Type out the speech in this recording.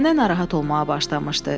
Nənə narahat olmağa başlamışdı.